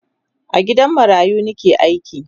a gidan marayu Nike aiki